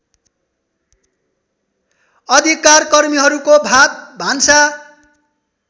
अधिकारकर्मीहरूको भातभान्सा